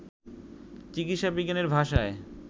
চিকিৎসা বিজ্ঞানের ভাষায়